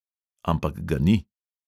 Ampak ga ni.